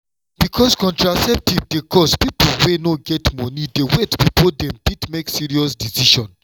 because contraceptive dey cost people wey no get money dey wait before dem fit make serious decision.